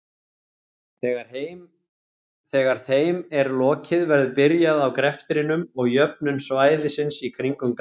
Þegar þeim er lokið verður byrjað á greftrinum og jöfnun svæðisins í kring um Garðinn.